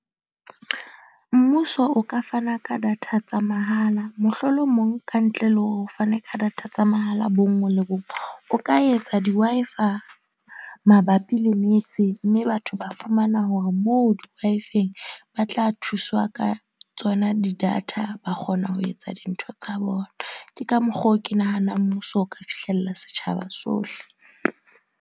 Mmuso o ka fana ka data tsa mahala mohlolomong kantle le ho fana ka data tsa mahala bonngwe le bong. O ka etsa di Wi-Fi mabapi le metse. Mme batho ba fumana hore moo Wi-Fi-eng ba tla thuswa ka tsona di data ba kgona ho etsa dintho tsa bona. Ke ka mokgwa oo ke nahana mmuso o ka fihlella setjhaba sohle.